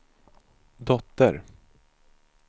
dotter